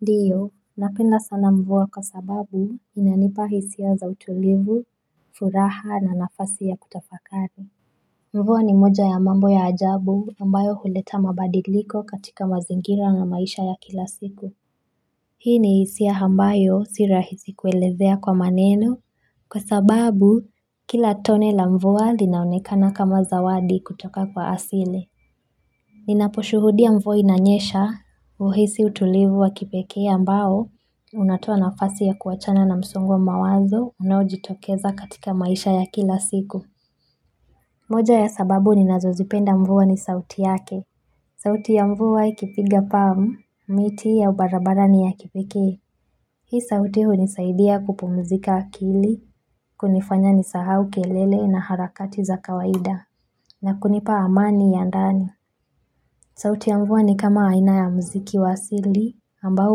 Ndiyo napenda sana mvua kwa sababu inanipa hisia za utulivu, furaha na nafasi ya kutafakari mvua ni moja ya mambo ya ajabu ambayo huleta mabadiliko katika mazingira na maisha ya kila siku Hii ni hisia ambayo si rahisi kuelezea kwa maneno Kwa sababu kila tone la mvua linaonekana kama zawadi kutoka kwa asile Ninaposhuhudia mvua inanyesha huhisi utulivu wa kipekea ambao Unatua nafasi ya kuachana na msongo wa mawazo unaojitokeza katika maisha ya kila siku moja ya sababu ni nazozipenda mvua ni sauti yake sauti ya mvua ikipiga palm, miti ya barabarani ya kipekee Hii sauti hunisaidia kupumzika akili, kunifanya nisahau kelele na harakati za kawaida na kunipa amani ya ndani sauti ya mvua ni kama aina ya mziki wa asili ambao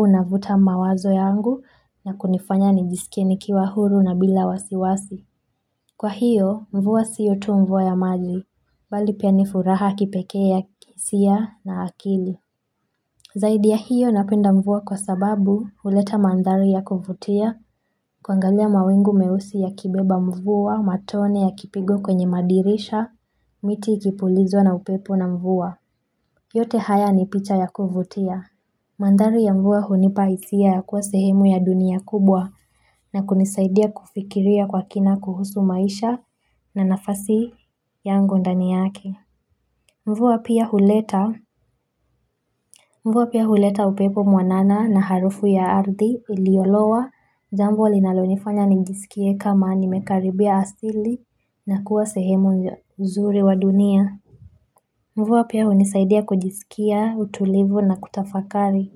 unavuta mawazo yangu na kunifanya nijisikie nikiwa huru na bila wasiwasi. Kwa hiyo, mvua sio tu mvua ya maji, bali pia ni furaha ya kipekea kihisia na akili. Zaidi ya hiyo napenda mvua kwa sababu huleta manthari ya kufutia, kuangalia mawingu meusi yakibeba mvua, matone yakipigwa kwenye madirisha, miti ikipulizwa na upepo na mvua. Yote haya ni picha ya kuvutia. Manthari ya mvua hunipa hisia ya kuwa sehemu ya dunia kubwa na kunisaidia kufikiria kwa kina kuhusu maisha na nafasi yangu ndani yake. Mvua pia huleta upepo mwanana na harufu ya ardhi iliolowa jambo linalonifanya nijisikie kama nimekaribia asili na kuwa sehemu uzuri wa dunia. Mvua pia hunisaidia kujisikia utulivu na kutafakari.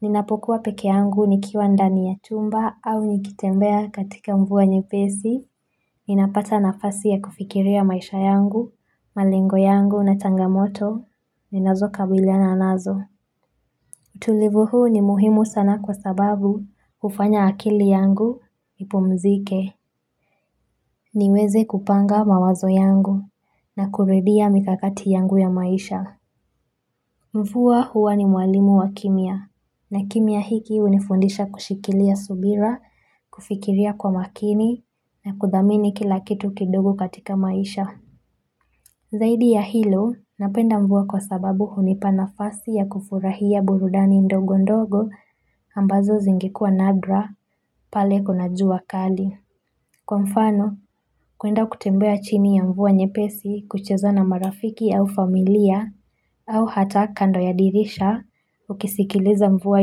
Ninapokuwa peke yangu nikiwa ndani ya chumba au nikitembea katika mvua nyepesi, ninapata nafasi ya kufikiria maisha yangu, malengo yangu na changamoto, ninazokabiliana nazo. Utulivu huu ni muhimu sana kwa sababu hufanya akili yangu ipumzike. Niweze kupanga mawazo yangu na kurudia mikakati yangu ya maisha. Mfua huwa ni mwalimu wa kimya na kimya hiki unifundisha kushikilia subira, kufikiria kwa makini na kuthamini kila kitu kidogo katika maisha. Zaidi ya hilo napenda mfua kwa sababu hunipa nafasi ya kufurahia burudani ndogo ndogo ambazo zingekuwa nadra pale kuna jua kali. Kwa mfano, kuenda kutembea chini ya mvua nyepesi kucheza na marafiki au familia au hata kando ya dirisha ukisikiliza mvua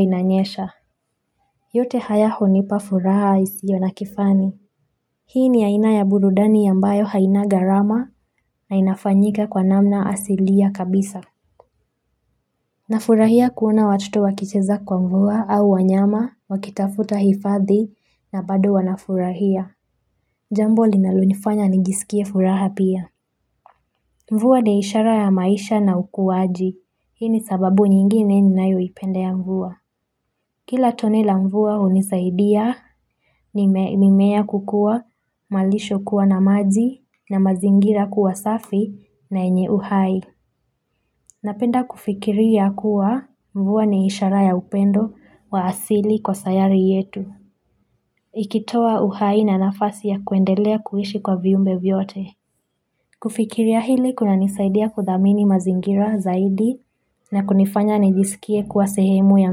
inanyesha. Yote haya hunipa furaha isiyo na kifani. Hii ni aina ya burudani ambayo haina gharama na inafanyika kwa namna asilia kabisa. Nafurahia kuona watuto wakicheza kwa mvua au wanyama wakitafuta hifadhi na bado wanafurahia. Jambo linalonifanya nijisikie furaha pia. Mvua ni ishara ya maisha na ukuaji. Hii ni sababu nyingine ninayoipendea ya mvua. Kila tone la mvua hunisaidia mimea kukua malisho kuwa na maji na mazingira kuwa safi na yenye uhai. Napenda kufikiria kuwa mvua ni ishara ya upendo wa asili kwa sayari yetu. Ikitoa uhai na nafasi ya kuendelea kuishi kwa viumbe vyote. Kufikiria hili kunanisaidia kudhamini mazingira zaidi na kunifanya nijisikie kuwa sehemu ya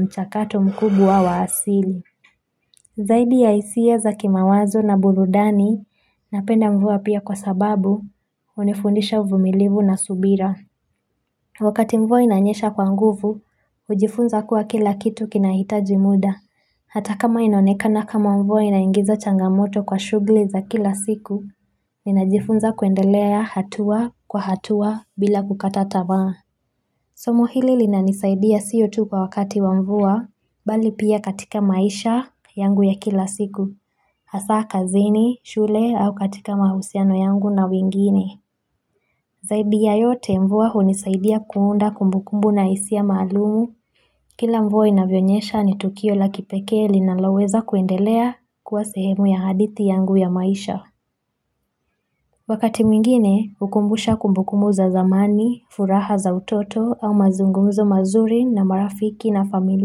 mchakato mkubwa wa asili. Zaidi ya hisia za kimawazo na burudani napenda mvua pia kwa sababu hunifundisha uvumilivu na subira. Wakati mvua inanyesha kwa nguvu, hujifunza kuwa kila kitu kinahitaji muda. Hata kama inaoneka na kama mvua inaingiza changamoto kwa shughuli za kila siku, ninajifunza kuendelea hatua kwa hatua bila kukatata tamaa. Somo hili lina nisaidia sio tu kwa wakati wa mvua, bali pia katika maisha yangu ya kila siku, hasa kazini, shule au katika mahusiano yangu na wengine. Zaidi ya yote mvua hunisaidia kuunda kumbukumbu na hisia maalumu, kila mvua inavyonyesha ni tukio la kipekee linalaweza kuendelea kuwa sehemu ya hadithi yangu ya maisha. Wakati mwingine hukumbusha kumbukumu za zamani, furaha za utoto au mazungumzo mazuri na marafiki na familia.